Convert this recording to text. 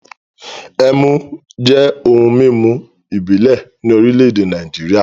Ẹmu jẹ́ ohun-mímu ìbílẹ̀ ní orílẹ̀-èdè Nàìjíríà.